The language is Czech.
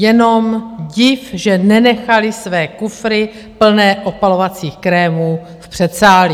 Jenom dík, že nenechali své kufry plné opalovacích krémů v předsálí.